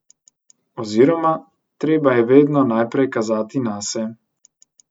Oziroma, treba je vedno najprej kazati nase.